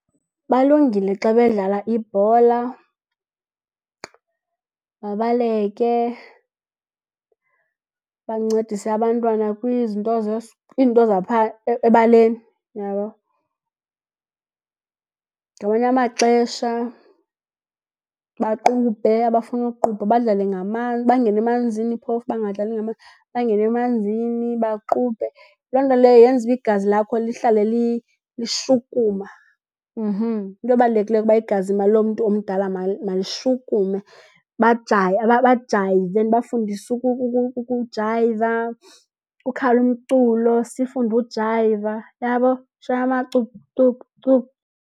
Balungile xa bedlala ibhola, babaleke, bancedise abantwana kwizinto, kwiinto zapha ebaleni, uyabo. Ngamanye amaxesha baqubhe abafuna ukuqubha, badlale bangene emanzini, phofu bangadlali ngamanzi, bangene emanzini baqubhe. Loo nto leyo yenza ukuba igazi lakho lihlale lishukuma . Into ebalulekileyo kukuba igazi lomntu omdala malishukume bajayive ndibafundise ukujayiva kukhale umculo, sifunde ujayiva, uyabo. Sishaye amacuphu, cuphu, cuphu.